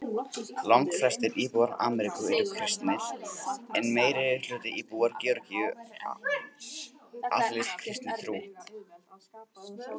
Langflestir íbúar Armeníu eru kristnir og meirihluti íbúa Georgíu aðhyllist kristna trú.